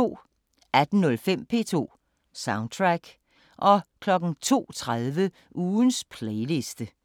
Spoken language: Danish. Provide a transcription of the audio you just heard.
18:05: P2 Soundtrack 02:30: Ugens playliste